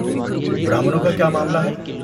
برہمنوں کا کیا معاملہ ہے؟